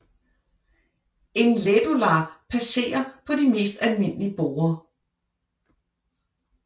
En Lädolar passer på de mest almindelige borde